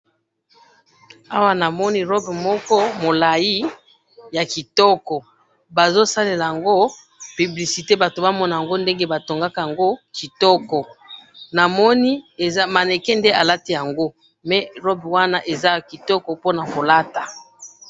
awa na moni robe moko molayi ya kitoko baso salelango publicite batu ba monango ndenge batu ba tongakango kitoko mannequin nde na lati yango mais wana robe eza ya kitoko po nako lata